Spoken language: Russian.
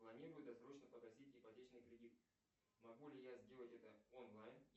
планирую досрочно погасить ипотечный кредит могу ли я это сделать онлайн